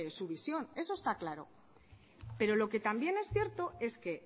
su visión eso está claro pero lo que también es cierto es que